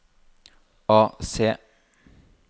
AC